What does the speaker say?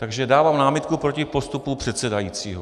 Takže dávám námitku proti postupu předsedajícího.